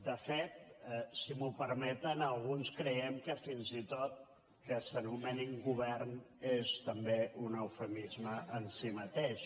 de fet si m’ho permeten alguns creiem fins i tot que el fet que s’anomenin govern és també un eufemisme en si mateix